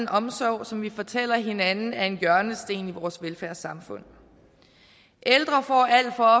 omsorg som vi fortæller hinanden er en hjørnesten i vores velfærdssamfund ældre får alt for